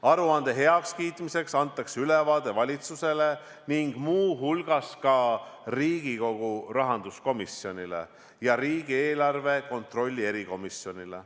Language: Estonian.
Aruande heakskiitmiseks antakse ülevaade valitsusele ning muu hulgas Riigikogu rahanduskomisjonile ja riigieelarve kontrolli erikomisjonile.